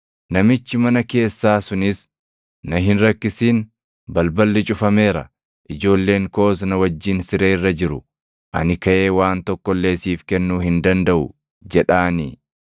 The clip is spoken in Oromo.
Namichi mana keessaa sunis, ‘Na hin rakkisin; balballi cufameera; ijoolleen koos na wajjin siree irra jiru; ani kaʼee waan tokko illee siif kennuu hin dandaʼu’ jedhaanii?